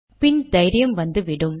பின் தைரியம் வந்துவிடும்